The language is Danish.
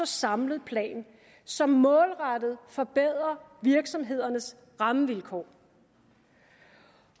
samlet plan som målrettet forbedrer virksomhedernes rammevilkår